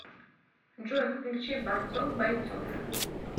джой включи борцов бойцов